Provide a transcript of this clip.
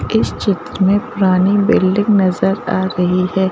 इस क्षेत्र में पुरानी बिल्डिंग नजर आ रही है।